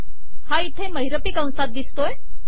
हा येथे महिरपी कंसात दिसतो आहे